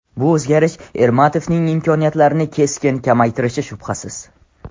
Bu o‘zgarish Ermatovning imkoniyatlarini keskin kamaytirishi shubhasiz.